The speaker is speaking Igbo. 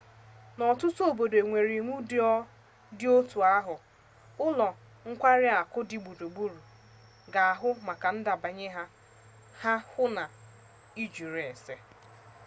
n'ọtụtụ obodo nwere iwu dị otu ahụ ụlọ nkwari akụ dị gburugburu ga-ahụ maka ndebanye aha hụ na ịjụrụ ese